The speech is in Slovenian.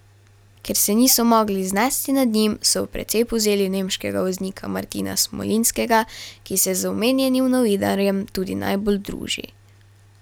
Ker se niso mogli znesti nad njim, so v precep vzeli nemškega voznika Martina Smolinskega, ki se z omenjenim novinarjem tudi najbolj druži.